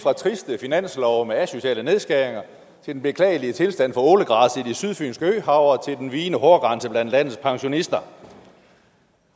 fra triste finanslove med asociale nedskæringer til den beklagelige tilstand for ålegræs i det sydfynske øhav og til den vigende hårgrænse blandt landets pensionister